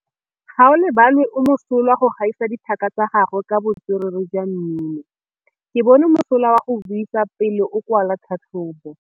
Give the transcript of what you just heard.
Gaolebalwe o mosola go gaisa dithaka tsa gagwe ka botswerere jwa mmino. Ke bone mosola wa go buisa pele o kwala tlhatlhobô.